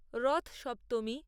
রথ সপ্তমী